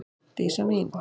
Dísa mín.